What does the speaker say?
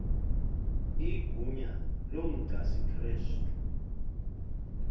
igunya lomchasi krestu